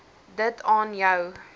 dit aan jou